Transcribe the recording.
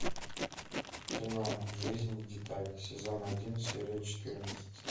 кино жизнь в деталях сезон один серия четырнадцать